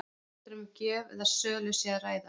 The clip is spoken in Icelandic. Hvort um gjöf eða sölu sé að ræða?